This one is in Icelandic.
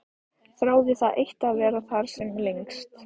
Þráði það eitt að vera þar sem lengst.